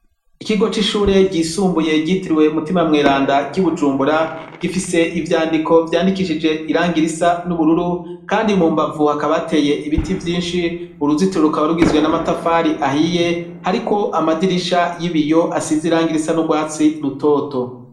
Ikigo c'ishure ryisumbuye ryitirwe Mutima mweranda ry' i Bujumbura, gifise ivyandiko vyandikishije irangi risa n'ubururu, kandi mu mbavu hakaba hateye ibiti vyinshi, uruzitiro rukaba rugizwe n'amatafari ahiye, hariko amadirisha y'ibiyo asize irangi risa n'urwatsi rutoto.